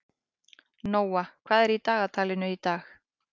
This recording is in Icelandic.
Nóa, hvað er í dagatalinu í dag?